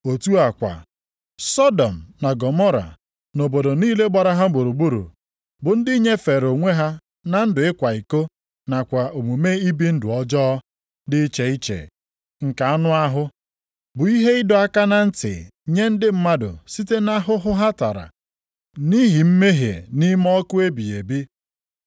Otu a kwa, Sọdọm na Gọmọra na obodo niile gbara ha gburugburu, bụ ndị nyefere onwe ha na ndụ ịkwa iko nakwa omume ibi ndụ ọjọọ dị iche iche nke anụ ahụ, bụ ihe ịdọ aka na ntị nye ndị mmadụ site nʼahụhụ ha tara nʼihi mmehie nʼime ọkụ ebighị ebi.